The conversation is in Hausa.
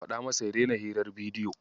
Ka faɗa masa ya daina hirar bidiyo.